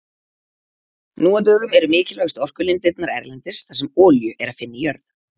Nú á dögum eru mikilvægustu orkulindirnar erlendis þar sem olíu er að finna í jörð.